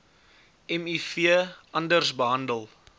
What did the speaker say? miv anders behandel